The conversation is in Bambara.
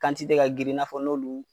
ka girin i n'a fɔ n'olu